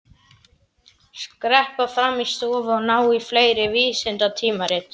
Skreppa fram í stofu og ná í fleiri vísindatímarit.